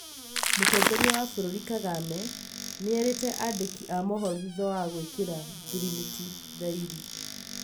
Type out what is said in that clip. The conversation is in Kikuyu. Mũtongoria wa bũrũri Kagame, nĩerĩte andĩki amohoro thutha wa gwĩkĩra ngirimiti thaĩri